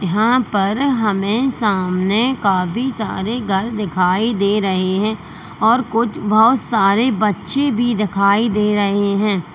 यहां पर हमे सामने काफी सारे घर दिखाई दे रहे है और कुछ बहुत सारे बच्चे भी दिखाई दे रहे है।